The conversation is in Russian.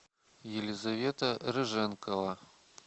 елизавета рыженкова